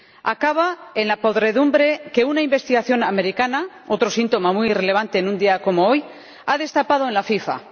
Acaba en la podredumbre que una investigación americana ―otro síntoma muy relevante en un día como hoy― ha destapado en la FIFA.